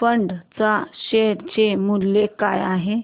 fund च्या share चे मूल्य काय आहे